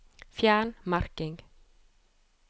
Fjern merking